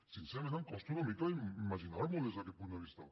sincerament em costa una mica imaginar m’ho des d’aquest punt de vista